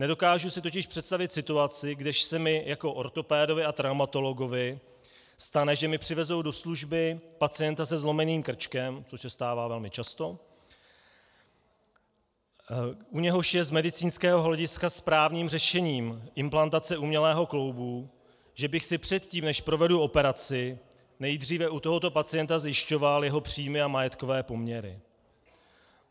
Nedokážu si totiž představit situaci, když se mi jako ortopedovi a traumatologovi stane, že mi přivezou do služby pacienta se zlomeným krčkem, což se stává velmi často, u něhož je z medicínského hlediska správným řešením implantace umělého kloubu, že bych si předtím, než provedu operaci, nejdříve u tohoto pacienta zjišťoval jeho příjmy a majetkové poměry.